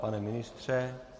Pane ministře?